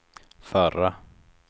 förra